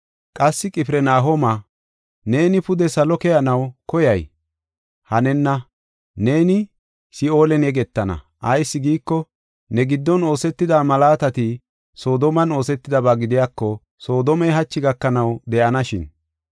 Qassi, Qifirnahooma, neeni pude salo keyanaw koyay? Hanenna! Neeni Si7oolen yegetana. Ayis giiko, ne giddon oosetida malaatati Soodomen oosetidaba gidiyako, Soodomey hachi gakanaw de7anashin.